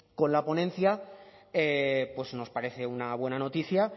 con la ponencia nos parece una buena noticia